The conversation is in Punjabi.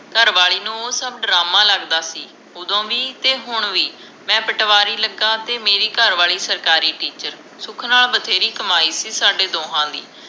ਘਰਵਾਲੀ ਨੂੰ ਸਭ ਡਰਾਮਾ ਲਗਦਾ ਸੀ ਓਦੋ ਵੀ ਤੇ ਹੁਣ ਵੀ ਮੈਂ ਪਟਵਾਰੀ ਲਗਾ ਤੇ ਮੇਰੀ ਘਰਵਾਲੀ ਸਰਕਾਰੀ ਟਿੱਚਰ ਸੁਖ ਨਾਲ ਬਥੇਰੀ ਕਮਾਈ ਸੀ ਸਾਡੇ ਦੋਹਾਂ ਦੀ